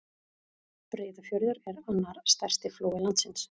Breiðafjörður er annar stærsti flói landsins.